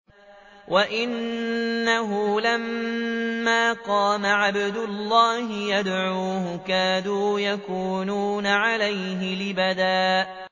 وَأَنَّهُ لَمَّا قَامَ عَبْدُ اللَّهِ يَدْعُوهُ كَادُوا يَكُونُونَ عَلَيْهِ لِبَدًا